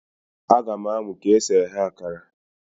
A ga m amụ ka esi eghe akara